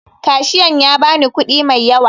Kashiyan ya ba ni kuɗi mai yawa